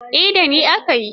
Eh, da ni aka yi.